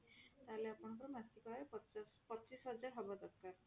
ତାହେଲେ ଆପଣଙ୍କର ମାସିକ ଆଯ ପଚାଶ ପଚିଶ ହଜାର ହବ ଦରକାର